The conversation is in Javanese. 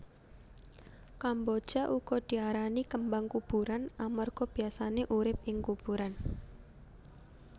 Kamboja uga diarani kembang kuburan amarga biyasané urip ing kuburan